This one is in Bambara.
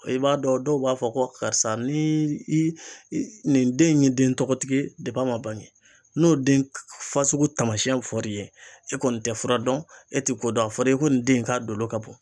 I b'a dɔn dɔw b'a fɔ ko karisa ni i nin den in ye den tɔgɔtigi ye dep'a ma bange n'o den fasugu taamasɛn fɔr'i ye e kɔni tɛ fura dɔn e ti ko dɔn a fɔra ko nin den in k'a dolo ka bon